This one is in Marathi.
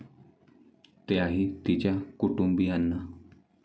त्याही तिच्या कुटुंबीयांना.